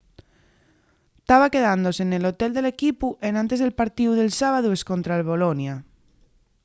taba quedándose nel hotel del equipu enantes del partíu del sábadu escontra'l bolonia